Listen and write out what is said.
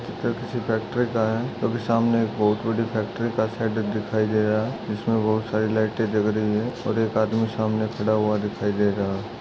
यह चित्र किसी फैक्टरी का है क्यूकी सामने एक बहुत बड़ी फेक्टरी का शेड दिखाई रहा है जिसमे बहुत सारे लाइटे जल रही है और एक आदमी सामने खड़ा हुआ दिखाई दे रहा है।